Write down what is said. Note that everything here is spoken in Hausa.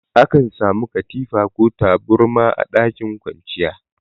Akan samu katifa ko taburma a ɗakin kwanciya.